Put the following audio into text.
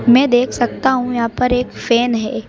मैं देख सकता हूं यहां पर एक फैन है।